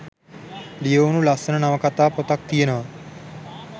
ලියවුනු ලස්සන නවකතා පොතක් තියෙනව